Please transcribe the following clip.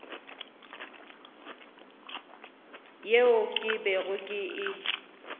yeo ke bego ke e